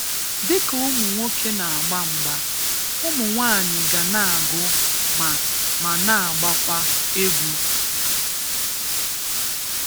Dịka ụmụ nwoke na-agba mgba, ụmụ nwanyị ga na-agụ ma ma na-agbakwa egwu.